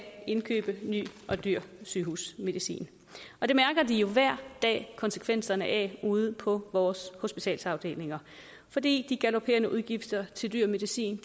indkøbe ny og dyr sygehusmedicin og det mærker de jo hver dag konsekvenserne af ude på vores hospitalsafdelinger fordi de galoperende udgifter til dyr medicin